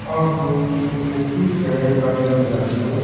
ओ कोई ऑफिस है कार्यालय लाग्यो।